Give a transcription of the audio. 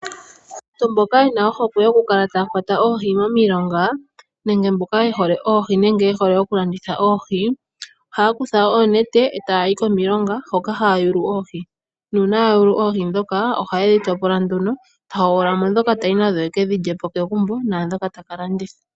Aantu mboka yena ohokwe yokukala taya kwata oohi momilonga nenge mboka ye hole oohi nenge ye hole oku landitha oohi, ohaya kutha oonete eta yayi komilonga hoka haya yulu oohi, nuuna yayula oohi. Nuuna yayulu oohi dhoka, oha yedhi topola nduno, tahogolola dhoka tayi nadho kegumbo ekedhi lyepo nadhoka taka landitha.